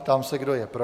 Ptám se, kdo je pro.